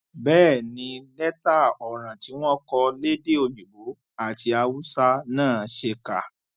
bẹẹ ni lẹtà ọràn tí wọn kọ lédè òyìnbó àti haúsá náà ṣe kà